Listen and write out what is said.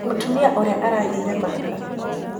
Mũtumia ũrĩa aragĩire mahatha.